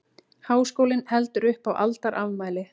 Háskólinn heldur upp á aldarafmæli